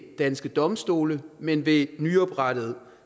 danske domstole men ved nyoprettede